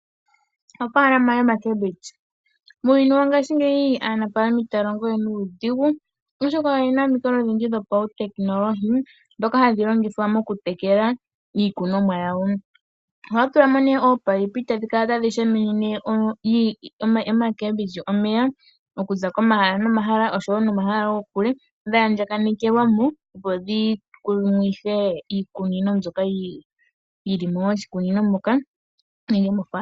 Ofaalama yoomboga dhuushimba, muuyuni wongashingeyi aanafalama itaya longowe nuudhigu oshoka oyena omikalo odhindji dhopautekinolohi dhoka hadhi longithwa oku tekela iikunomwa yawo. Ohaya tulamo ominino etadhi kala tashi shashamine oomboga omeya dhaandjakanekelwa kehe pamwe opo dhi tile kehe oshimeno omeya.